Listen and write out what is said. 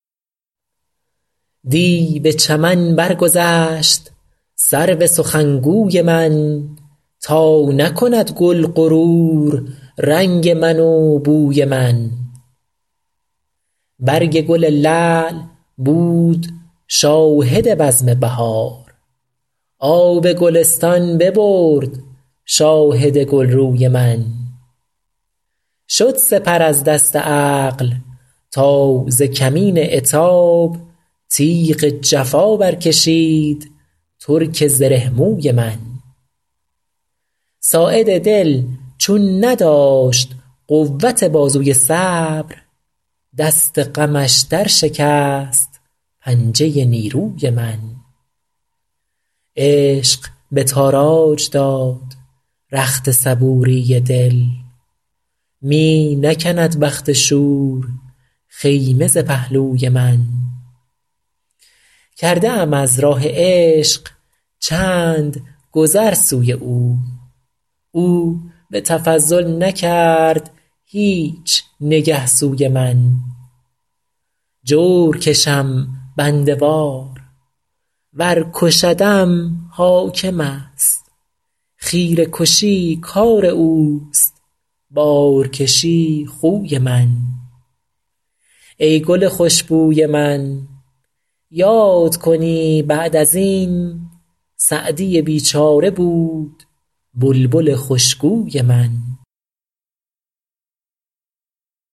دی به چمن برگذشت سرو سخنگوی من تا نکند گل غرور رنگ من و بوی من برگ گل لعل بود شاهد بزم بهار آب گلستان ببرد شاهد گلروی من شد سپر از دست عقل تا ز کمین عتاب تیغ جفا برکشید ترک زره موی من ساعد دل چون نداشت قوت بازوی صبر دست غمش درشکست پنجه نیروی من عشق به تاراج داد رخت صبوری دل می نکند بخت شور خیمه ز پهلوی من کرده ام از راه عشق چند گذر سوی او او به تفضل نکرد هیچ نگه سوی من جور کشم بنده وار ور کشدم حاکم است خیره کشی کار اوست بارکشی خوی من ای گل خوش بوی من یاد کنی بعد از این سعدی بیچاره بود بلبل خوشگوی من